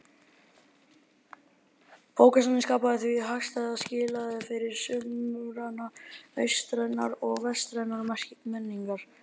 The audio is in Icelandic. Bókasafnið skapaði því hagstæð skilyrði fyrir samruna austrænnar og vestrænnar menningar.